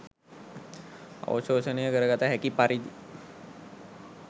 අවශෝෂණය කරගත හැකි පරිදි